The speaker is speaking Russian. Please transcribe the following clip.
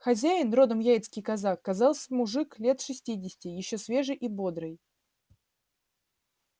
хозяин родом яицкий казак казался мужик лет шестидесяти ещё свежий и бодрый